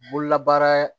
Bololabaara